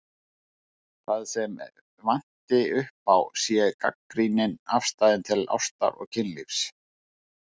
Það sem vanti upp á sé gagnrýnin afstaða til ástar og kynlífs.